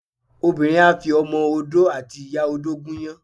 Obinrin á fi Ọmọ Odó àti ìyá-odó gúnyán